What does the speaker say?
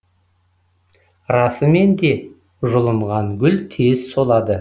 расымен де жұлынған гүл тез солады